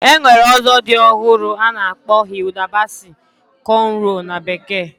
Enwere ozo di ohuru ana akpo Hilda Baci Conrows na bekee.